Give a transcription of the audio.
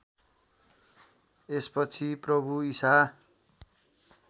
यसपछि प्रभु ईशा